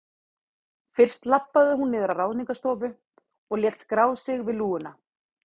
Fyrst labbaði hún niður á Ráðningarstofu og lét skrá sig við lúguna.